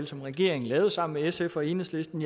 som regeringen lavede sammen med sf og enhedslisten